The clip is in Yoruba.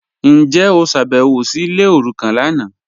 Njẹ o ṣábẹ̀wò sí ilẹ̀ orúkàn lánà?